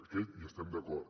amb aquest hi estem d’acord